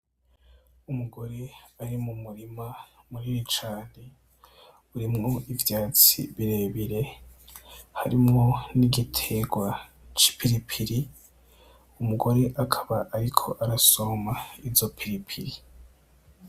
Umugore ari m'umurima munini cane, urimwo ivyatsi birebire, harimwo n'igiterwa c'ipiripiri, uwo mugore akaba ariko arasoroma izo piripiri.